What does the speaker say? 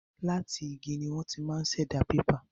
Láti ara igi ni wọ́n ti máa ṣẹ̀dá pépà.